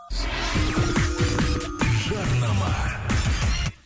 жарнама